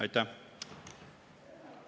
Aitäh!